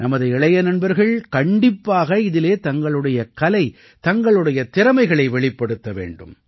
நமது இளைய நண்பர்கள் கண்டிப்பாக இதிலே தங்களுடைய கலை தங்களுடைய திறமைகளை வெளிப்படுத்த வேண்டும்